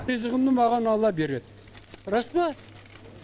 ризығымды маған алла береді рас па